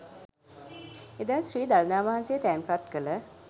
එදා ශ්‍රී දළදා වහන්සේ තැන්පත් කළ